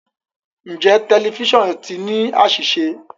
Njẹ tẹlifisiọnu ti ni aṣiṣe?